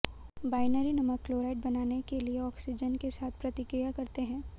binary नमक chlorite बनाने के लिए ऑक्सीजन के साथ प्रतिक्रिया करते हैं